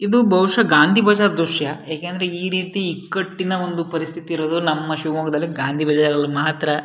ಇದು ಬಹುಷ ಗಾಂಧಿ ಬಜಾರ್ ದ್ರಶ್ಯ ಏಕೆಂದ್ರೆ ಈ ರೀತಿ ಇಕ್ಕಟಿನ ಪರಿಸ್ಥಿತಿ ಇರೋದು ನಮ್ಮ ಗಾಂಧಿ ಬಜಾರ್ನಲ್ಲಿ ಮಾತ್ರ --